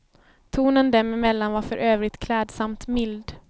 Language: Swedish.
Tonen dem emellan var för övrigt klädsamt mild.